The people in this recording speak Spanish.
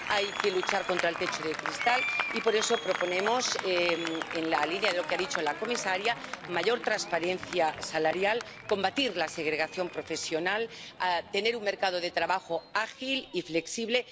Hay que luchar contra el techo de cristal y por eso proponemos ―en la línea de lo que ha dicho la comisaria― mayor transparencia salarial, combatir la segregación profesional, tener un mercado de trabajo ágil y flexible.